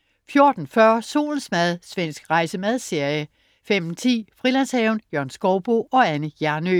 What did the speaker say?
14.40 Solens mad. Svensk rejse-/madserie 15.10 Frilandshaven. Jørgen Skouboe og Anne Hjernøe